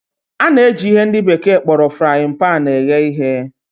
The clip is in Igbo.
A na-eji ihe ndị bekee kpọrọ frayịn paanị eghe ihe.